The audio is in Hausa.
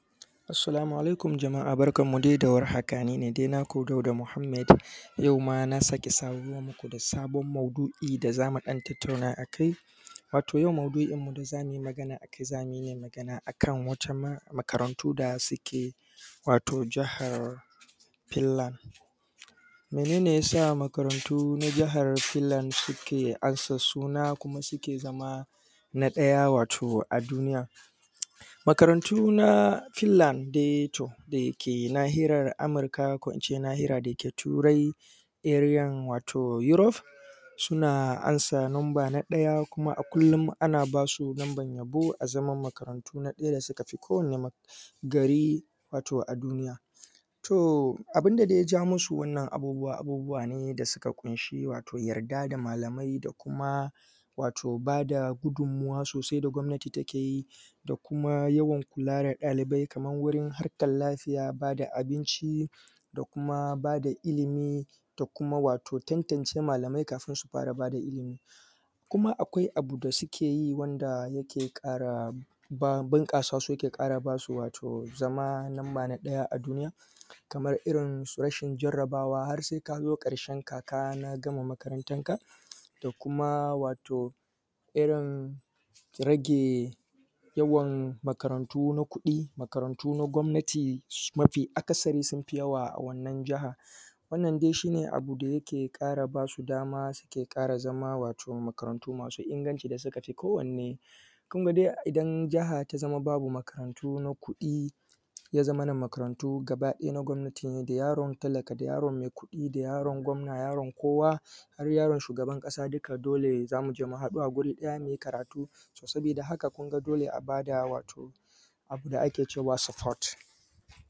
Assalamu alaikum jama'a barkan mu dai da war haka, ni ne dai naku Dauda Muhammed yau ma na sake samo muku da sabon maudu'i da za mu ɗan tattauna a kai. Wato yau maudu'in mu da za mu yi magana a kai, za mu yi magana a kan wata makarantu da suke wato jahar Pinland. Mene ne ya sa makarantu na jihar Pinland suke amsa suna kuma suke zama na ɗaya wato a duniya? Makarantu na Pinland dai to da ke nahiyar Amurka ko kuma in ce nahiya da ke turai ariyan wato Europe suna ansa number na ɗaya kuma a kullum ana ba su namban yabo a zama makarantu na ɗaya da suka fi kowane gari wato a duniya. Toh, abun da dai ya ja masu wannan abubuwa, abubuwa ne da suka kunshi wato yarda da malamai da kuma wato ba da gudunmawa sosai da gwamnati take yi da kuma yawwan kula da ɗalibai kaman wurin harkar lafiya ba da abinci da kuma ba da ilimi da kuma wato tantance malamai kafin su fara ba da ilimi. Kuma akwai abu da suke yi wanda yake ƙara bunƙasa su yake kara ba su wato zama lamba na ɗaya a duniya, kamar irin su rashin jarabawa har sai ka zo ƙarshen kaka na gama makarantanka da kuma wato irin rage yawan makarantu na kuɗi, makarantu na gwamnati, mafi akasari sun fi yawa a wannan jahar. Wannan dai shi ne abu da yake ƙara ba su dama suke ƙara zama wato makarantu masu inganci da suka fi kowanne. Kun ga dai idan jaha ta zama babu makarantu na kuɗi, ya zamana makarantu gabaɗaya na gwamnatin ne da yaron talaka da yaron mai kuɗi da yaron gwamna da yaro kowa, har yaron shugaban ƙasa duka dole za mu je mu haɗu a guri ɗaya mu yi karatu. so sabida haka kun ga dole a ba da wato abu da ake cewa support.